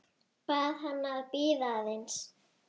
Bað hana að bíða aðeins.